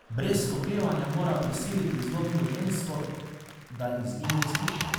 Brez oklevanja mora prisiliti zlobno žensko, da izgine iz hiše.